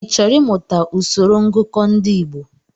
Ị chọrọ I mụta usoro ngụkọ ndị Igbo?